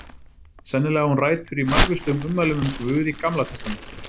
Sennilega á hún rætur í margvíslegum ummælum um guð í Gamla testamentinu.